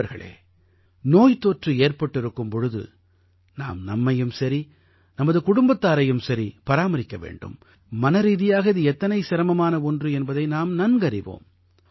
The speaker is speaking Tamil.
நண்பர்களே நோய்த்தொற்று ஏற்பட்டிருக்கும் பொழுது நாம் நம்மையும் சரி நமது குடும்பத்தாரையும் சரி பராமரிக்க வேண்டும் மனரீதியாக இது எத்தனை சிரமமான ஒன்று என்பதை நாம் நன்கறிவோம்